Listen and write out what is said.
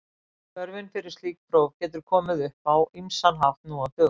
Þörfin fyrir slík próf getur komið upp á ýmsan hátt nú á dögum.